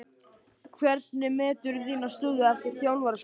Hvernig meturðu þína stöðu eftir þjálfaraskiptin?